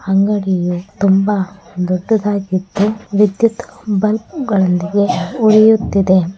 ಅಂಗಡಿಯು ತುಂಬ ದೊಡ್ಡದಾಗಿದ್ದು ವಿದ್ಯುತ್ ಬಲ್ಬ್ ಗಳೊಂದಿಗೆ ಹೊಳೆಯುತ್ತಿದೆ.